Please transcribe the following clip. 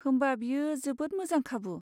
होमबा बेयो जोबोद मोजां खाबु।